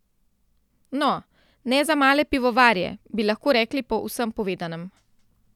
No, ne za male pivovarje, bi lahko rekli po vsem povedanem.